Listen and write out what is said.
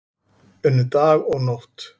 Unnu dag og nótt